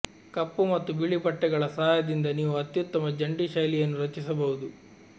ಕಪ್ಪು ಮತ್ತು ಬಿಳಿ ಬಟ್ಟೆಗಳ ಸಹಾಯದಿಂದ ನೀವು ಅತ್ಯುತ್ತಮ ಜಂಟಿ ಶೈಲಿಯನ್ನು ರಚಿಸಬಹುದು